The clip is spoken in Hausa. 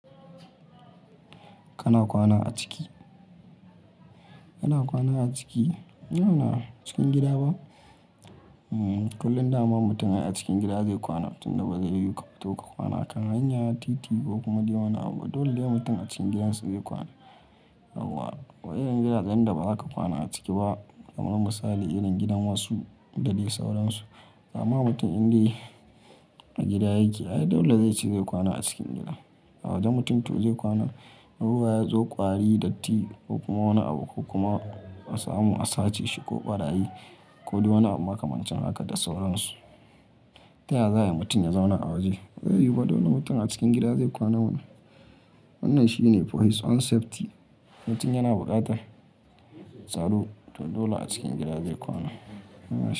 Kana kwana a ciki, kana kwana a ciki? Cikin gida ba? Kullum dama mutum a cikin gida zai kwana, tun da ba zai yiwu ka fito ka kwana a kan hanya, titi ko kuma dai wani abu. Dole ne mutum a cikin gidansu zai kwana, yauwa. Wa irin gidajen da ba za ka kwana a ciki ba? Kamar misali irin gidan wasu da dai sauransu. Ama mutum in dai a gida yake, ai dole zai ce zai kwana a cikin gida. A waje mutum to zai kwana, ruwa ya zo, kwari, datti ko kuma wani abu ko kuma wasamu a sace shi ko barayi ko dai wani abu makamancin haka da sauransu. Ta yaya za ayi mutum ya zauna a waje? Ba zai yiwu ba, dole ne mutum a cikin gida zai kwana mana. Wannan shine for his own safety. Mutum yana buƙatar tsaro, to dole a cikin gida zai kwana.